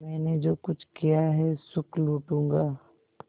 मैंने जो कुछ किया है सुख लूटूँगा